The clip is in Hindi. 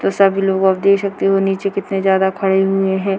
तो सब लोग आप देख सकते हो नीचे कितने जादा खड़े हुऐ हैं।